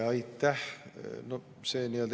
Aitäh!